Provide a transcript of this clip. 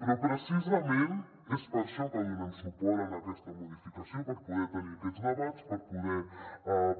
però precisament és per això que donem suport a aquesta modificació per poder tenir aquests debats per poder